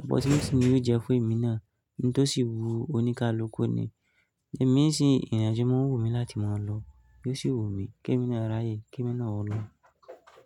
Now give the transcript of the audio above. opportunity ni ó jẹ́ fun èmi náà oun tó sì wú oníkálukú ni. Ẹ̀mi n sìn ìrìn-àjò máa ń wù mí láti máa lọ. Yóò sì wù mí kí èmi náà ráyè, kí èmi náà o lọ.